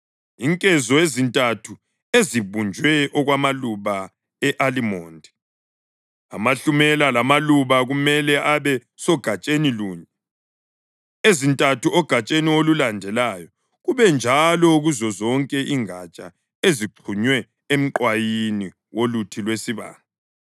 Inkezo ezintathu ezibunjwe okwamaluba e-alimondi, amahlumela lamaluba kumele abe sogatsheni lunye, ezintathu egatsheni olulandelayo, kube njalo kuzozonke ingatsha ezixhunywe emqwayini woluthi lwesibane.